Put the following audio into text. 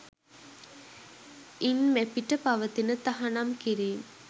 ඉන් මෙපිට පවතින තහනම් කිරීම්